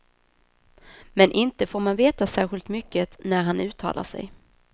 Men inte får man veta särskilt mycket när han uttalar sig.